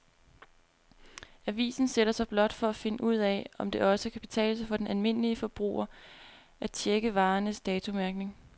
Avisen sætter sig blot for at finde ud af, om det også kan betale sig for den almindelige forbruger at checke varernes datomærkning.